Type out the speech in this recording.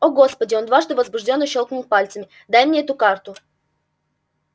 о господи он дважды возбуждённо щёлкнул пальцами дай мне эту карту